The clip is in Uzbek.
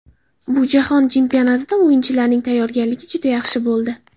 Bu jahon chempionatida o‘yinchilarning tayyorgarligi juda yaxshi bo‘ldi.